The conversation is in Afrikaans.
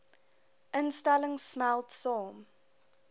instellings smelt saam